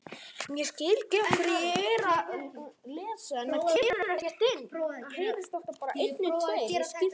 Annað er óeðli.